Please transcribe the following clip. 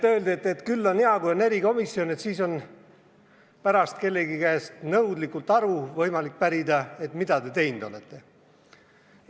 Öeldi, et küll on hea, kui on erikomisjon, siis on pärast võimalik kellegi käest nõudlikult aru pärida, et mida te teinud olete.